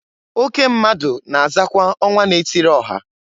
Oke mmadụ na azakwa ọnwa na-etiri ọha.